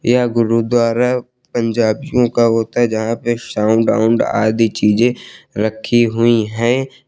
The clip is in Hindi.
यह गुरुद्वारा पंजाबियों का होता है जहां पर साउंड आउंड आदि चीजे रखी हुई है।